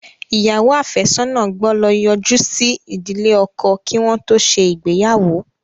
Ìyàwó afesona gbó ló yoju sí ìdílé ọkọ kí wọn tó ṣe ìgbéyàwó.